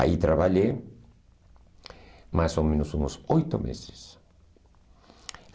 Aí trabalhei mais ou menos uns oito meses.